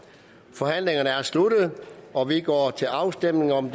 forhandlingen er sluttet og vi går til afstemning om